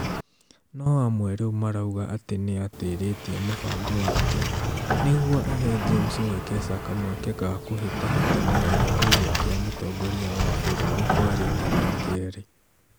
no amwe rĩu marauga atĩ nĩatĩrĩtie mũbango wake nĩguo ahe James Wekesa kamweke ga kũhĩtahĩtanira gĩturwa kĩa mũtongoria wa bũrũri kwa rita rĩa kerĩ